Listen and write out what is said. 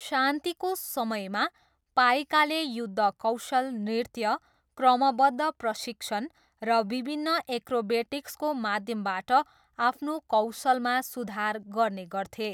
शान्तिको समयमा, पाइकाले युद्धकौशल नृत्य, क्रमवद्ध प्रशिक्षण र विभिन्न एक्रोबेटिक्सको माध्यमबाट आफ्नो कौशलमा सुधार गर्ने गर्थे।